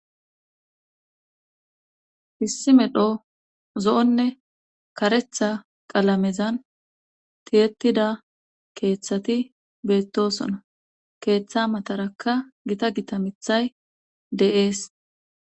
hissi medho zo7onne karetha qalamezan tiyetida keeththati beettosono keeththa matarakka gita gita mithay de7ees